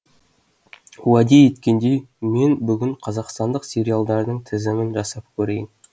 уәде еткендей мен бүгін қазақстандық сериалдардың тізімін жасап көрейін